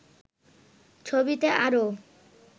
ছবিতে আরও